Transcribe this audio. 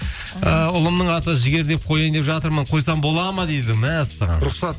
ы ұлымның аты жігер деп қояйын деп жатырмын қойсам болады ма дейді мәссаған рұқсат